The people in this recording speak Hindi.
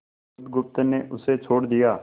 बुधगुप्त ने उसे छोड़ दिया